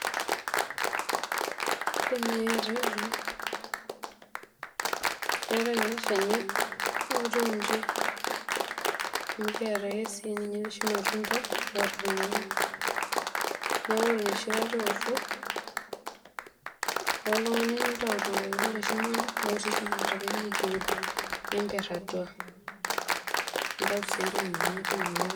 Indim naji atejo, keetae ele shani otiunji amu kiata oshi sinche irmatunda otiu njineaku ore enoshi kata uoto, ilo ake oltungani nintau rkiku le shumata lotii shumata pemekiud nimper atuanintau si entoki nanyae tine.